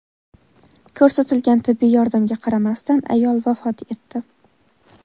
Ko‘rsatilgan tibbiy yordamga qaramasdan ayol vafot etdi.